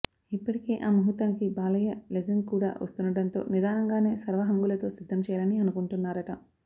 ఇప్పటికే ఆ ముహూర్తానికి బాలయ్య లెజెండ్ కూడా వస్తుండడంతో నిధానంగానే సర్వహంగులతో సిద్దం చేయాలని అనుకుంటున్నారట